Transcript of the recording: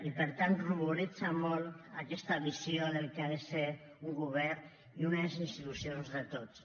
i per tant ruboritza molt aquesta visió del que ha de ser un govern i unes institucions de tots